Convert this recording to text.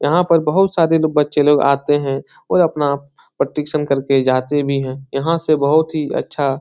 यहाँ पर बहोत सारे लोग बच्चे लोग आते हैं और अपना प्रतिक्षण करके जाते भी हैं यहाँ से बहोत ही अच्छा --